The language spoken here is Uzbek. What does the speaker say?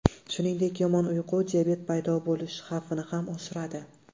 Shuningdek, yomon uyqu diabet paydo bo‘lish xavfini ham oshiradi.